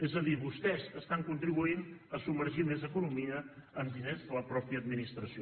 és a dir vostès estan contribuint a submergir més economia amb diners de la mateixa administració